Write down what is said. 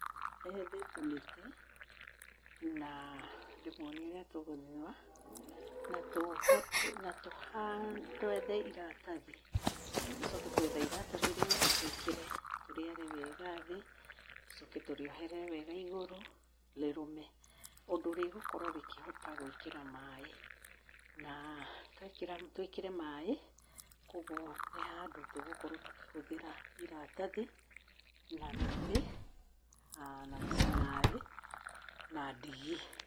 Wethe tũmĩtĩ na ndĩmonie ũrĩa tũgũthũa na twethe iratathi, tũcoke twetha iratathi rĩu tũĩkĩre tũrĩare wega thĩ, tũcoke tũrĩoherere wega igũrũ rĩrũme ũndũ rĩgũkorwo rĩkĩhota gwĩkĩra maĩ. Na twĩkĩre maĩ, koguo nĩ handũ tũgũkorwo tũkĩhũthĩra iratathi na mĩtĩ na mĩcumarĩ na ndigi.